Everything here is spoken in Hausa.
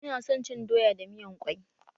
Ina son cin doya da miyan ƙwai